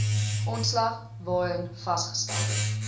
aanslag waarin vasgestelde